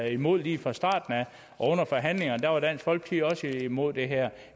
imod det lige fra starten under forhandlingerne var dansk folkeparti også imod det her